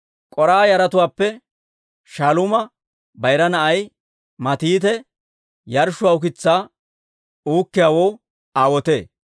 K'oraaha yaratuwaappe Shaaluuma bayira na'ay Matiite yarshshuwaa ukitsaa uukkiyaawoo aawotee.